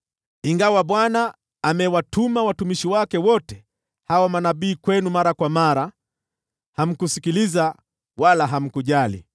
Ingawa Bwana amewatuma watumishi wake wote hao manabii kwenu mara kwa mara, hamkusikiliza wala hamkujali.